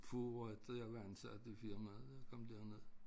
Få efter jeg var ansat i firmaet jeg kom derned